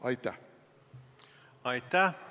Aitäh!